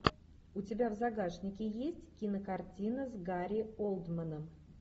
у тебя в загашнике есть кинокартина с гари олдманом